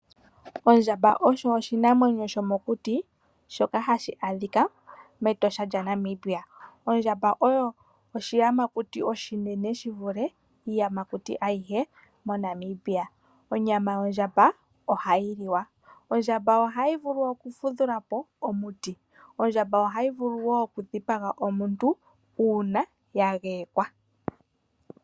Ondjamba osho oshinamwenyo shoka shomokuti shoka hashi a dhika mEtosha lyaNamibia. Ondjamba oyo oshiyamakuti oshinene shi vule iiyamakuti ayihe moNamibia. Onyama yondjamba ohayi liwa. Ondjamba Ohayi vulu okufumvula po omuti. Ondjamba ohayi vulu woo okudhipaga omuntu uuna ya geyekwa.